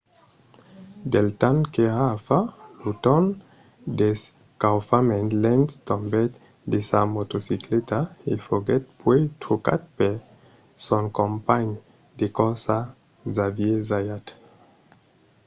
del temps qu’èra a far lo torn d’escaufament lenz tombèt de sa motocicleta e foguèt puèi trucat per son companh de corsa xavier zayat